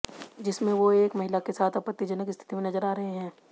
जिसमें वो एक महिला के साथ आपत्तिजनक स्थित में नजर आ रहे हैं